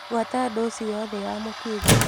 Buata dosi yothe ya mũkingo.